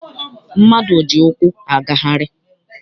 Mmadụ ji ụkwụ agagharị.